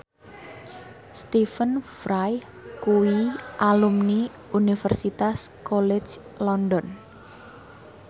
Stephen Fry kuwi alumni Universitas College London